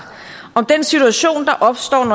om